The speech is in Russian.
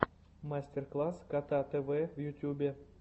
мастер класс кота тв в ютьюбе